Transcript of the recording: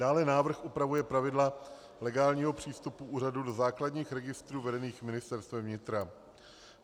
Dále návrh upravuje pravidla legálního přístupu úřadu do základních registrů vedených Ministerstvem vnitra.